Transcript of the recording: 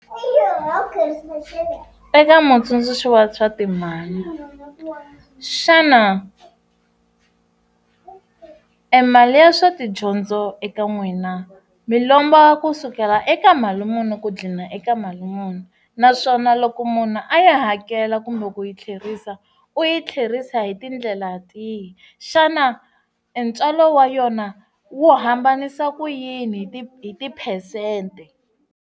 Eka mutsundzuxi wa swa timali xana emali ya swa tidyondzo eka n'wina mi lomba kusukela eka mali muni ku dlina eka mali muni naswona loko munhu a ya hakela kumbe ku yi tlherisa u yi tlherisa hi tindlela tihi xana ntswalo wa yona wu hambanisa ku yini hi ti tiphesente.